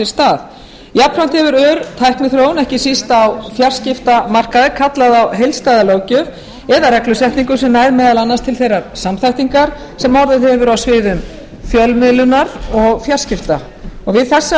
stað jafnframt hefur ör tækniþróun ekki síst á fjarskiptamarkaði kallað á heildstæða löggjöf eða reglusetningu sem nær meðal annars til þeirrar samþættingar sem orðið hefur á sviði fjölmiðlunar og fjarskipta við þessar